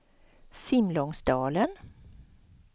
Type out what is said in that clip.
Simlångsdalen